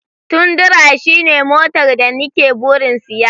Tundra shine motar da ni ke burin siya.